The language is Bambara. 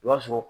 I b'a sɔrɔ